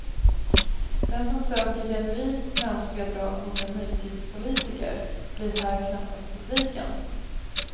Den som söker genuint mänskliga drag hos en nutidspolitiker blir här knappast besviken.